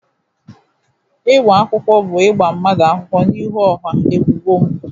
Ịgba akwụkwọ bụ ịgba mmadụ akwụkwọ n'ihu ọha ebubo mpụ.